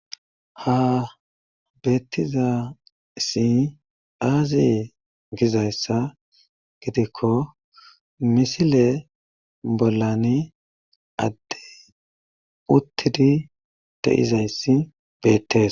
ha beettizaysi aaze gizayssa gidikko misile bollani adde uttidi de7izayssi beettees